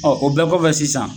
Ɔ o bɛɛ kɔ fɛ sisan.